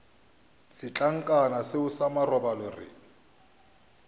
setlankana seo sa marobalo re